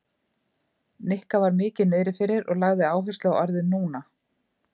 Nikka var mikið niðri fyrir og lagði áherslu á orðið núna.